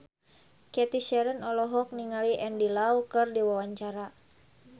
Cathy Sharon olohok ningali Andy Lau keur diwawancara